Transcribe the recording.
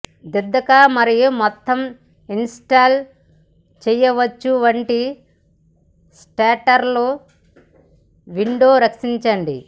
దిద్దక మరియు మొత్తం ఇన్స్టాల్ చేయవచ్చు వంటి షట్టర్లు విండో రక్షించండి